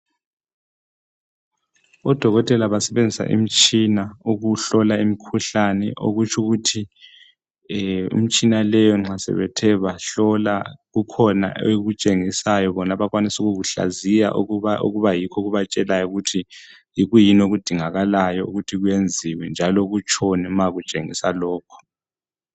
Odokotela basebenzisa imitshina ukuhlola imikhuhlane okutsho ukuthi imitshina leyo nxa sebethe bahlola kukhona ekutshengisayo bona abakwanisa ukukuhlaziya ukuba yikho okubatshelayo ukuthi yikuyini okudingakalayo ukuthi okwenziwe njalo kutshoni ma kutshengisa lokho.